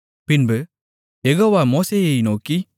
பின்பு யெகோவா மோசேயை நோக்கி